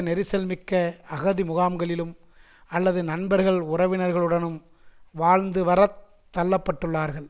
நெரிசல் மிக்க அகதி முகாம்களிலும் அல்லது நண்பர்கள் உறவினர்களுடனும் வாழ்ந்து வர தள்ளப்பட்டுள்ளார்கள்